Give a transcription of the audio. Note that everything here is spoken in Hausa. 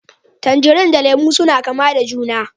Tangarine da Lemu suna kama da juna